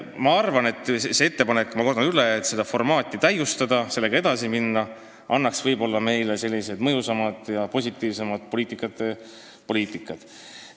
Ma arvan, et ettepanek – ma kordan üle – seda formaati täiustada ja sellega edasi minna annaks meile võib-olla mõjusamaid ja positiivsemaid poliitikaid.